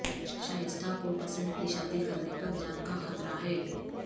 شائستہ کو پسند کی شادی کرنے پر جان کا خطرہ ہے